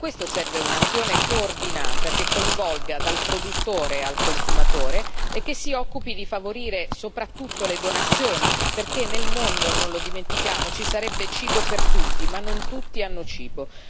Per questo serve un'azione coordinata che coinvolga dal produttore al consumatore e che si occupi di favorire soprattutto le donazioni, perché nel mondo, non lo dimentichiamo, ci sarebbe cibo per tutti ma non tutti hanno cibo.